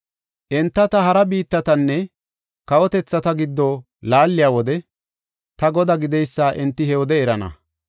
“Enta ta hara biittatanne kawotethata giddo laaliya wode ta Godaa gideysa enti he wode erana.